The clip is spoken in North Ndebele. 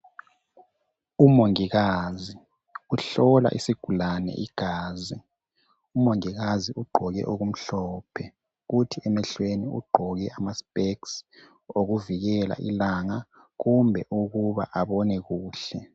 Umongikazi uhlola isigulane igazi. Umongikazi ugqoke okumhlophe. Kuthi emehlweni ugqoke amaspecks, okuvikela ilanga. Kumbe ukuba abone kuhke.